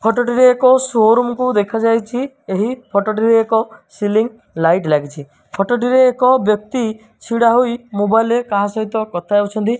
Photo ଟିରେ ଏକ showroom କୁ ଦେଖାଯାଇଚି ଏହି ଫଟୋଟିରେ ଏକ ସିଲିଙ୍ଗି ଲାଇଟ୍ ଲାଗିଚି ଫଟୋ ଟିରେ ଏକ ବ୍ୟକ୍ତି ଛିଡ଼ା ହୋଇ ମୋବାଇଲ୍ ରେ କାହା ସହିତ କଥା ହୋଉଚନ୍ତି।